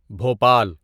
Bhopal